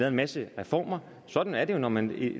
en masse reformer sådan er det jo når man